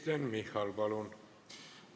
Kristen Michal, palun!